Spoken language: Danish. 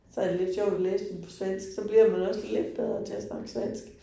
Så er det lidt sjovt at læse dem på svensk, så bliver man også lidt bedre til at snakke svensk